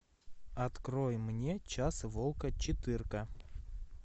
открой мне час волка четырка